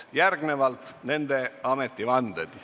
Kuulame ära nende ametivande.